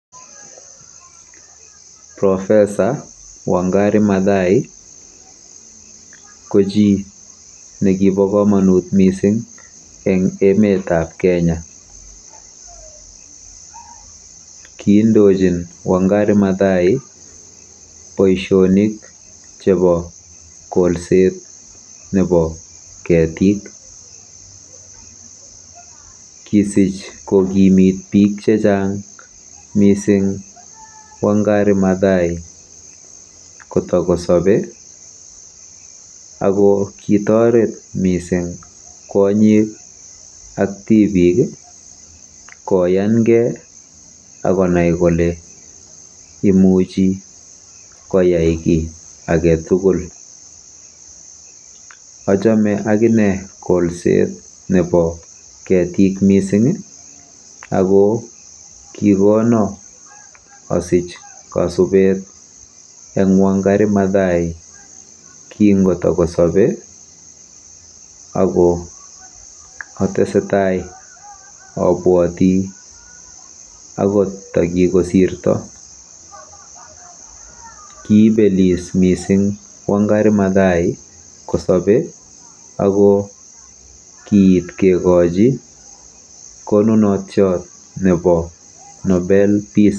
Profesa Wangari Mathai ko chi nekibo komonut mising eng emetab kenya. Kiindochin Wangari Mathai boisionik chebo kolset nebo ketik. Kisich kokimit bik chechang mising Wangari Mathai kotokosobei